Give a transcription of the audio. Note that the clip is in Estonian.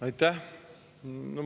Aitäh!